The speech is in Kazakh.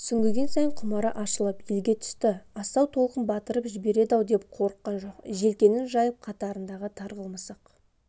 сүңгіген сайын құмары ашылып елге түсті асау толқын батырып жібереді-ау деп қорыққан жоқ желкенін жайып қатарында тарғыл мысық